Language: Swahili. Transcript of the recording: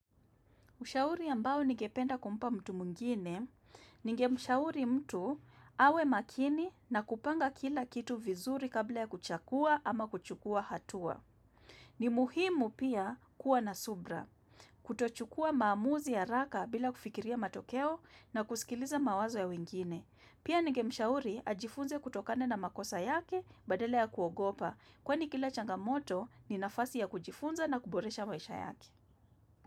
Ushauri ambao ningependa kumpa mtu mwingine, ningemshauri mtu awe makini na kupanga kila kitu vizuri kabla ya kuchakua ama kuchukua hatua. Ni muhimu pia kuwa na subra. Kutochukua maamuzi ya raka bila kufikiria matokeo na kusikiliza mawazo ya wengine. Pia ningemshauri ajifunze kutokana na makosa yake badale ya kuogopa. Kwani kila changamoto ni nafasi ya kujifunza na kuboresha maisha yake.